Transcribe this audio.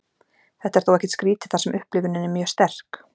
þetta er þó ekkert skrítið þar sem upplifunin er mjög sterk